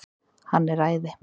Hann er æði.